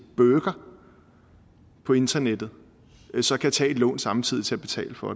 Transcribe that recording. burger på internettet så kan tage et lån samtidig til at betale for